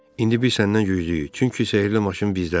İndi biz səndən güclüyük, çünki sehrli maşın bizdədir.